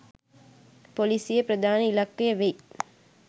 පොලිසියේ ප්‍රධාන ඉලක්කය වෙයි